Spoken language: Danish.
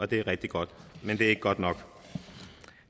det er rigtig godt men det er ikke godt nok